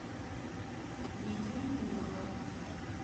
лидию юрьевну